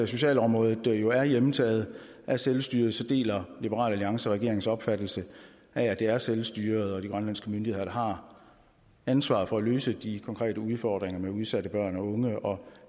socialområdet jo er hjemtaget af selvstyret deler liberal alliance regeringens opfattelse af at det er selvstyret og de grønlandske myndigheder der har ansvaret for at løse de konkrete udfordringer med udsatte børn og unge og